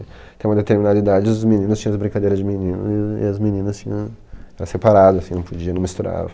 Até uma determinada idade, os meninos tinham as brincadeiras de menino e a e as meninas tinha... Era separado, assim, não podia, não misturava.